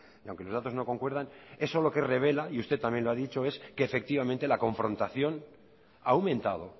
y aunque los datos no concuerdan eso lo que revela y usted también lo ha dicho es que efectivamente la confrontación ha aumentado